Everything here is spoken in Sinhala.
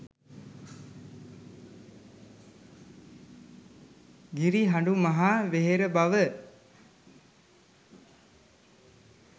ගිරිහඬු මහ වෙහෙර බව